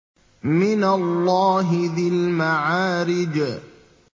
مِّنَ اللَّهِ ذِي الْمَعَارِجِ